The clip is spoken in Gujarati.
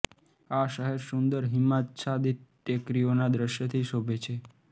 આ શહેર સુંદર હિમાચ્છાદિત ટેકરીઓના દ્રશ્યથી શોભે છે